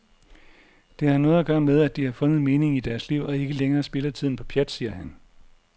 Det har noget at gøre med, at de har fundet meningen i deres liv og ikke længere spilder tiden på pjat, siger han.